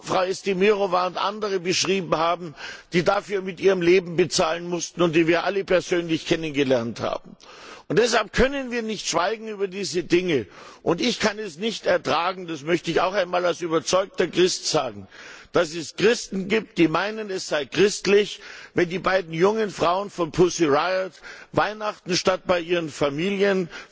Frau Estemirowa beschrieben haben, die dafür mit ihrem Leben bezahlen mussten und die wir alle persönlich kennengelernt haben. Deshalb können wir nicht schweigen über diese Dinge, und ich kann es nicht ertragen, das möchte ich auch einmal als überzeugter Christ sagen, dass es Christen gibt, die meinen, es sei christlich, wenn die beiden jungen Frauen von Pussy Riot Weihnachten statt bei ihren Familien